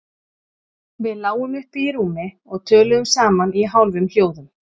Við lágum uppi í rúmi og töluðum saman í hálfum hljóðum.